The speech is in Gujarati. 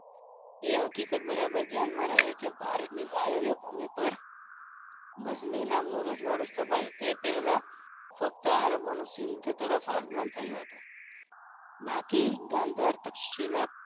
એ હકીકત બરાબર ધ્યાન રહે કર ભારતમાં બાહ્ય ભૂમિ પર ગજની નામનું રજવાડું સ્થપાયું એ પહેલા ફક્તઅરબોનું સિંધ તરફ આગમન થયું હતું બાકી ગંધર તક્ષિલા